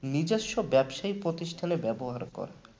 নিজস্ব ব্যবসা প্রতিষ্ঠানে ব্যবহার করা